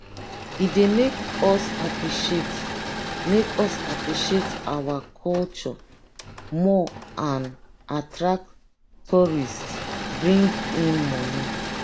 e dey make us appreciate make us appreciate our own culture more and attract tourists bring in monie.